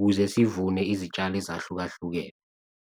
ukuze zivune izitshalo ezahlukahlukene.